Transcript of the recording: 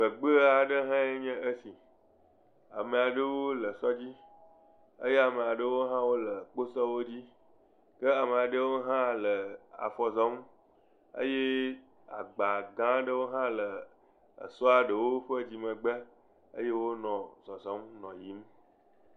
Teƒe aɖe nye esi. Ame aɖewo nɔ sɔ dzi eye ame aɖewo hã nɔ kposɔwo dzi. Ke ame aɖewo hã le afɔ zɔ eye agba gã aɖewo hã le èsɔa ɖewo ƒe megbe eye wonɔ zɔzɔm.